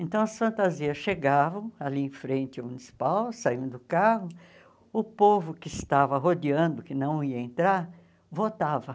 Então, as fantasias chegavam ali em frente ao municipal, saíam do carro, o povo que estava rodeando, que não ia entrar, votava.